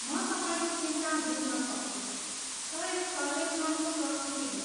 म तपाईँको चिन्ता बुझ्न सक्छु, तर यो सर्वेक्षणको प्रकृति हो।